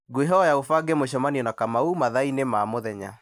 ngũkwĩhoya ũbange mũcemanio na kamau mathaa-inĩ ma mũthenya